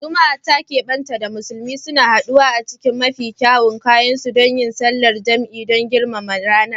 Juma’a ta kebanta da musulmi, suna haduwa a cikin mafi kyawun kayansu don yin sallar jam’i don girmama ranar.